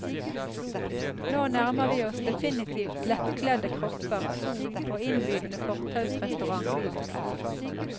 Nå nærmer vi oss definitivt lettkledde kropper, sol, og innbydende fortausrestauranter.